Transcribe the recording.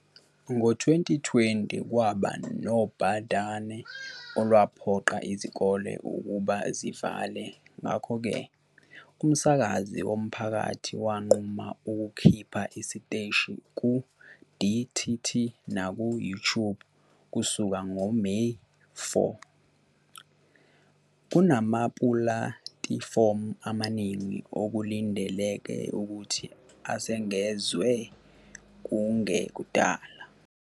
Ngo-2020, kwaba nobhadane olwaphoqa izikole ukuba zivale ngakho-ke umsakazi womphakathi wanquma ukukhipha isiteshi ku-DTT naku-YouTube kusuka ngoMeyi 4 kunamapulatifomu amaningi okulindeleke ukuthi asengezwe kungekudala.